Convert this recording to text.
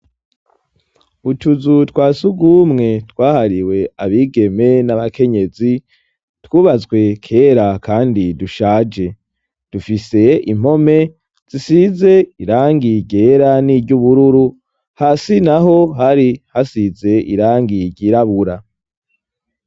utuzu twasugumwe twahariwe abigeme n'abakenyezi twubatswe kera kandi dushaje dufise impome zisize irangi ryera niry'ubururu hasi naho hari hasize irangi ryirabura